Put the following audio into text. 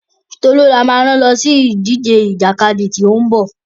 Tolú ni a máa rán lọ sí ìdíje ìjàkadì tí ó ń bọ̀.